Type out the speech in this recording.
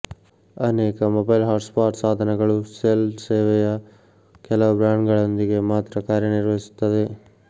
ಅನೇಕ mobile hotspot ಸಾಧನಗಳು cell ಸೇವೆಯ ಕೆಲವು ಬ್ರಾಂಡ್ಗಳೊಂದಿಗೆ ಮಾತ್ರ ಕಾರ್ಯನಿರ್ವಹಿಸುತ್ತವೆ